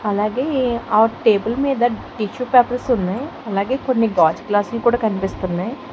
అలాగే ఆవ్ టేబుల్ మీద టిష్యూ పేపర్స్ ఉన్నాయ్. అలాగే కొన్ని గాజు గ్లాస్ లు కూడా కనిపిస్తున్నాయి.